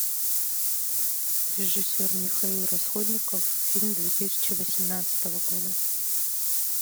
режиссер михаил расходников фильм две тысячи восемнадцатого года